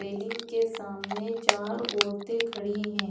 Railing के सामने चार औरते खड़ी है।